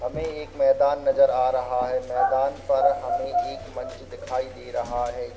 हमे एक मैदान नजर आ रहा है। मैदान पर हमे एक मंच दिखाई दे रहा है।